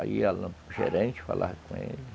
Aí ia no gerente, falava com ele.